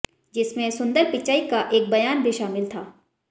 जिसमें सुंदर पिचई का एक बयान भी शामिल था